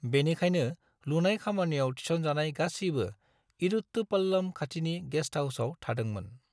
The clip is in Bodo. बेनिखायनो, लुनाय खामानियाव थिसनजानाय गासैबो इरुट्टू पल्लम खाथिनि गेस्ट हाउसाव थादोंमोन।